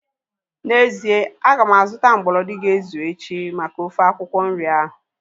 N'ezie, aga m azụta mgbolodi ga-ezu echi maka ofe akwụkwọ nri ahu